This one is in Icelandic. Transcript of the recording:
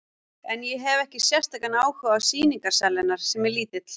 En ég hefi ekki sérstakan áhuga á sýningarsal hennar, sem er lítill.